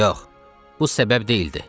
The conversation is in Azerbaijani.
Yox, bu səbəb deyildi.